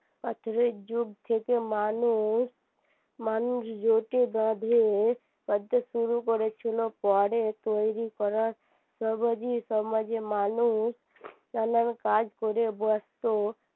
পাথরের যুগ থেকে মানুষ মানুষ জোট বেঁধে শুরু করেছিল পরে তৈরী করা সমাজে মানুষ নানান কাজ করে ব্যস্ত